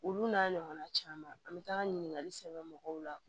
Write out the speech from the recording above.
Olu n'a ɲɔgɔnna caman an mi taa ɲininkali sɛbɛn mɔgɔw la